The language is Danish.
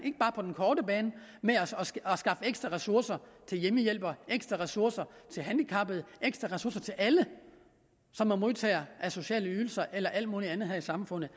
korte bane ved at skaffe ekstra ressourcer til hjemmehjælpere ekstra ressourcer til handicappede ekstra ressourcer til alle som er modtagere af sociale ydelser eller alt muligt andet her i samfundet